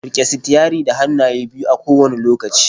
Rike sitiyarin da hannaye biyu a kowane lokaci.